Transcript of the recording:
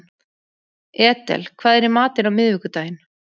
Edel, hvað er í matinn á miðvikudaginn?